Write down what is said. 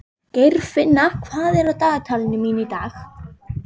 Geirfinna, hvað er á dagatalinu mínu í dag?